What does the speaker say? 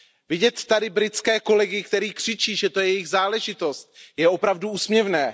Vidět tady britské kolegy, kteří křičí, že to je jejich záležitost, je opravdu úsměvné.